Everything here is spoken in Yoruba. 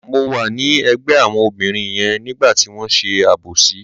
Mo wà ní ẹ̀gbẹ́ àwọn obìnrin yẹn nígbà tí wọ́n ṣe àbòsí.